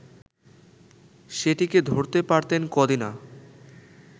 সেটিকে ধরতে পারতেন কদিনা